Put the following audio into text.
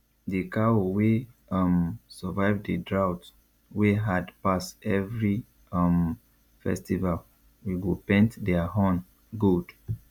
the cow wey um survive the drought wey hard pass every um festival we go paint their horn gold